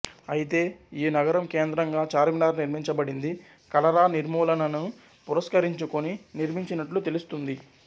అయితే ఈ నగరం కేంద్రంగా చార్మినార్ నిర్మించబడింది కలరా నిర్మూలనను పురస్కరించుకొని నిర్మించినట్లు తెలుస్తుంది